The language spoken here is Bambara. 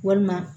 Walima